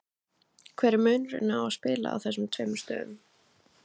Hver er munurinn að spila á þessum tveimur stöðum?